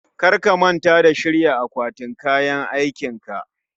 Kar ka manta ka shirya akwatin kayan aikinka